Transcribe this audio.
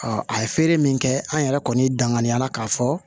a ye feere min kɛ an yɛrɛ kɔni danganiya la k'a fɔ